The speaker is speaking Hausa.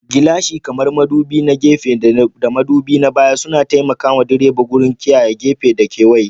Gilashin, kamar madubi na gefe da madubi na baya, suna taimaka wa direba wajen kiyaye gefe da kewaye.